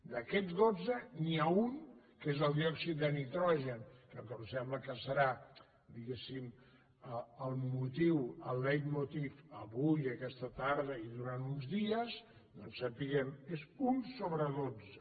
d’aquests dotze n’hi ha un que és el diòxid de nitrogen que em sembla que serà diguéssim el motiu el leitmotiv avui aquesta tarda i durant uns dies doncs sapiguem és un sobre dotze